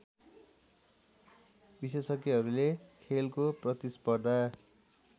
विशेषज्ञहरूले खेलको प्रतिस्पर्धा